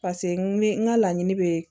Paseke n bɛ n ka laɲini bɛ